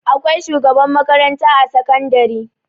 Akwai shugaban makaranta a sakandari.